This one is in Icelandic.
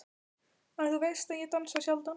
En þú veist að ég dansa sjaldan.